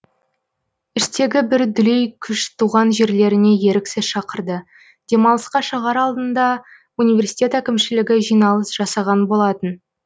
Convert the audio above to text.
іштегі бір дүлей күш туған жерлеріне еріксіз шақырды демалысқа шығар алдында университет әкімшілгі жиналыс жасаған болатын